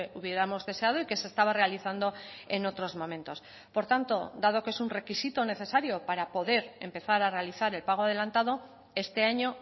hubiéramos deseado y que se estaba realizando en otros momentos por tanto dado que es un requisito necesario para poder empezar a realizar el pago adelantado este año